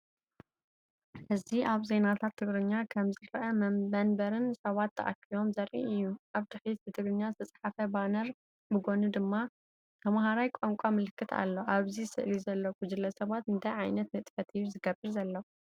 እዚ ኣብ ዜናታት ቴሌቪዥን ከም ዝረአ መንበርን ሰባትን ተኣኪቦም ዘርኢ እዩ። ኣብ ድሕሪት ብትግርኛ ዝተጻሕፈ ባነር፡ ብጎኒ ድማ ተማሃራይ ቋንቋ ምልክት ኣሎ። ኣብዚ ስእሊ ዘሎ ጉጅለ ሰባት እንታይ ዓይነት ንጥፈት እዩ ዝገብር ዘሎ?